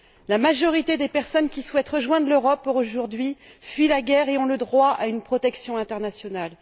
La majorité des personnes qui souhaitent rejoindre l'Europe aujourd'hui fuient la guerre et ont le droit à une protection internationale.